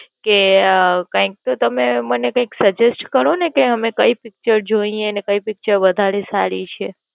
કે અઅઅ કૈક તમે મને કૈક Suggest કરો ને કે અમે કઈ પીચર જોઈએ ને કઈ પીચર વધારે સારી છે?